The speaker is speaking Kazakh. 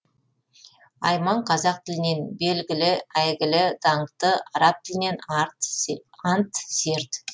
айман қазақ тілінен белгілі әйгілі даңқты араб тілінен ант серт